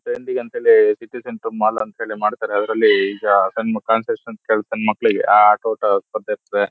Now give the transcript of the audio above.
ಅಂತ ಹೇಳಿ city centre mall ಅಂತ ಮಾಡತಾರೆ ಅದ್ರಲ್ಲಿಈಗ ಸಣ್ಣ ಮಕ್ಲಿಗೆ ಆಟೋಟ ಸ್ಪರ್ಧೆ ಇರ್ತದೆ.